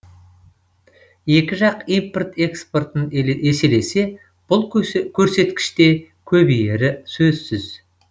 екі жақ импорт экспортын еселесе бұл көрсеткіш те көбейері сөзсіз